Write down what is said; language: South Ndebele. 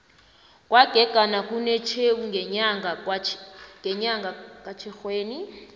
kwagegana kunetjhewu ngenyanga katjhirhweni